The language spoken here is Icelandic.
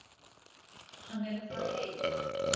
Hann er að fara heim.